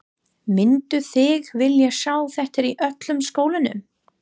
Mynduð þið vilja sjá þetta í öllum skólanum?